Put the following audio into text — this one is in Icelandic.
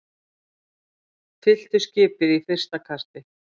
Fylltu skipið í fyrsta kasti